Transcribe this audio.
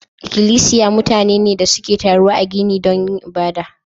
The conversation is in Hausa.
Ikilisiya mutane ne da suke taruwa a gini don yin ibada.